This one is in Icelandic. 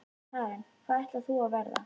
Karen: Hvað ætlar þú að verða?